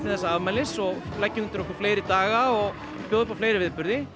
afmælisins og leggja undir okkur fleiri daga og bjóða upp a fleiri viðburði